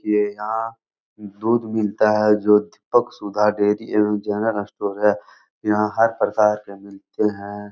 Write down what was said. ये यहाँ दूध मिलता है जो दीपक सुधा डेरी एवं जनरल अस्टोर स्टोर है यहाँ हर प्रकार के मिलते हैं।